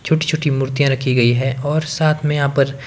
छोटी छोटी मूर्तियां रखी गई है और साथ में यहां पर--